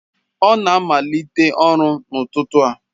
Ọ na-amalite ọrụ n'ụtụtụ a.